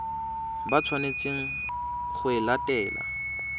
ba tshwanetseng go e latela